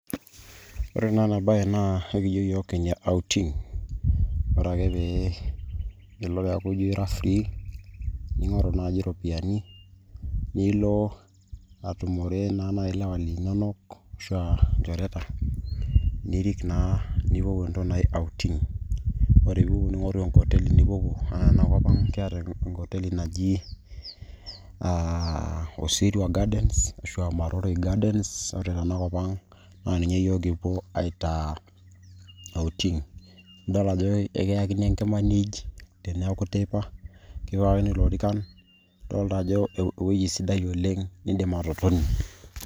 Ore na enabae naa ekijo yiok Kenya outing. Ore ake pe ilo ijo ira free ,ning'oru naji iropiyiani nilo atumore nai ilewa linonok ashua ilchoreta, nirik naa nipuopuo entoki naji outing. Ore pipopuo ning'oruru enkoteli nipuopuo. Ore enakop ang' keeta enkoteli naji ah Osirwa Gardens ashua Maroroi Gardens. Ore tenakop ang',na ninye yiok kipuo aitaa outing. Idol ajo ekiyakini enkima niij, teneku teipa. Nikipikakini ilorikan. Idolta ajo ewuei sidai oleng' niidim atotonie.